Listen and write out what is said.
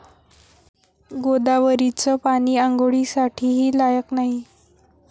गोदावरीचं पाणी आंघोळीसाठीही लायक नाही'